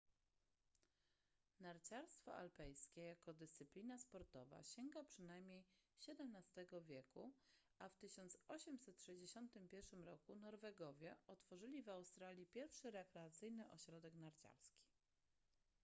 narciarstwo alpejskie jako dyscyplina sportowa sięga przynajmniej xvii wieku a w 1861 roku norwegowie otworzyli w australii pierwszy rekreacyjny ośrodek narciarski